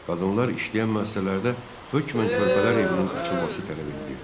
Qadınlar işləyən müəssisələrdə hökmən körpələr evinin açılması tələb edilirdi.